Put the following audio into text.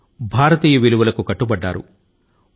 భారతీయ విలువల ను ఆయన జీర్ణించుకున్నారు